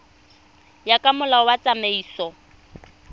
ya ka molao wa tsamaiso